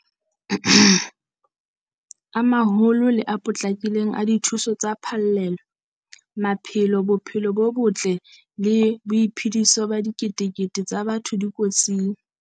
A maholo le a potlakileng a dithuso tsa phallelo. Maphelo, bophelo bo botle le boiphediso ba diketekete tsa batho di kotsing.